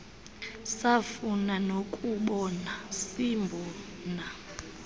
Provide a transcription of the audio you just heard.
safuna nokumbona simbona